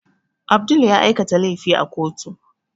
Abdul ya aikata laifi a kotu